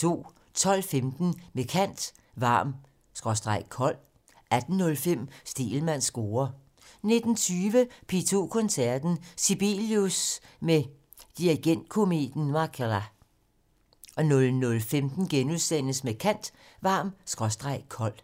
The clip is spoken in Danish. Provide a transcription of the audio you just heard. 12:15: Med kant - Varm/kold 18:05: Stegelmanns score 19:20: P2 Koncerten - Sibelius! med dirigentkometen Mäkelä 00:15: Med kant - Varm/kold *